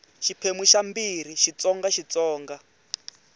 xiphemu xa ii xitsonga xitsonga